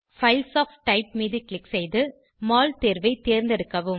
files of type மீது click செய்து மோல் தேர்வை தேர்ந்தெடுக்கவும்